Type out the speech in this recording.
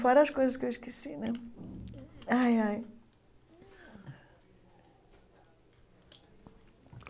Fora as coisas que eu esqueci né ai ai.